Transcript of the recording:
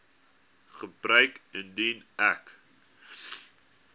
gebeur indien ek